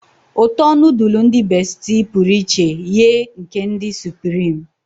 uto nudulu ndi besitie puru iche ye nke ndi supireme